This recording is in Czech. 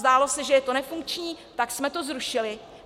Zdálo se, že to je nefunkční, tak jsme to zrušili.